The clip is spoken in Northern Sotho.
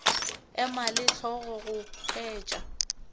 ema le hlogo go hwetša